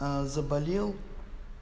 а заболел